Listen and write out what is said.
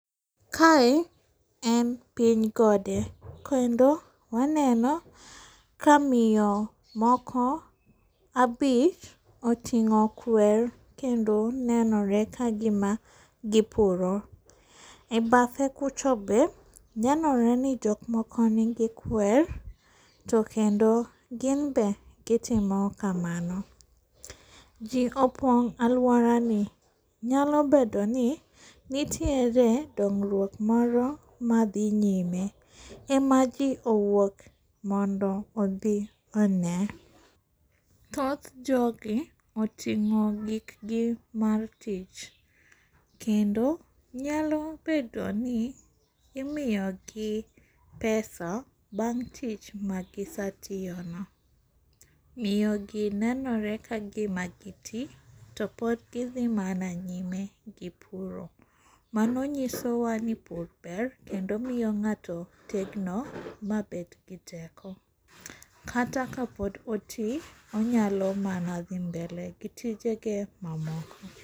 Kae en piny gode kendo waneno ka miyo moko abich oting'o kwer kendo nenore kagima gipuro. Ebathe kucho be nenore ni jok moko nigi kwer to kendo gin be gitimo kamano. Ji opong' aluorani nyalo bedoni nitiere dongruok moro madhi nyime ema ji owuok mondo obi one. Thoth jogi oting'o gikgi mar tich. Kendo nyalo bedoni imiyogi pesa bang' tich magisatiyono. Miyogi nenore kagima gi ti topod gidhi mana nyime gi puro. Mano nyisowa ni pur ber kendo miyo ng'ato tegno mabed gi teko kata kapod oti onyalo mana dhi mbele gi tijege mamoko.